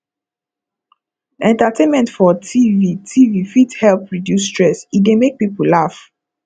entertainment for tv tv fit help reduce stress e dey make people laugh